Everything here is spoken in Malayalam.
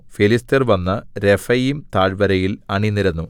ഫെലിസ്ത്യർ വന്നു രെഫയീം താഴ്വരയിൽ അണിനിരന്നു